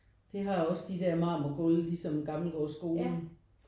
Det har også de der marmorgulve ligesom Gammelgaardsskolen